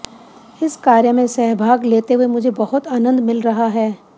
इस कार्य में सहभाग लेते हुए मुझे बहुत आनंद मिल रहा है